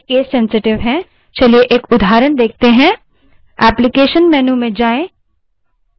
commands lower case में होती हैं तथा वे case sensitive हैं चलिए एक उदाहरण देखते हैं